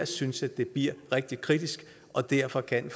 synes jeg det bliver rigtig kritisk og derfor kan